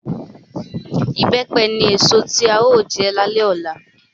Ìbẹ́pẹ ni èso tí a ó jẹ lálẹ́ ọ̀la